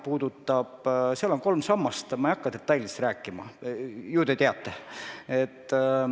Seal on kolm sammast, ma ei hakka detailidest rääkima, ju te olete kursis.